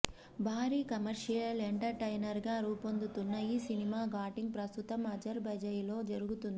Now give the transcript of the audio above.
భారీ commercial entertainer గా రూపొందుతున్న ఈ సినిమా షూటింగ్ ప్రస్తుతం అజర్ జైజాన్ లో జరుగుతుంది